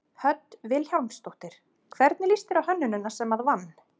Hödd Vilhjálmsdóttir: Hvernig líst þér á hönnunina sem að vann?